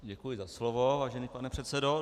Děkuju za slovo, vážený pane předsedo.